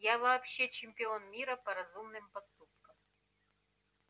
я вообще чемпион мира по разумным поступкам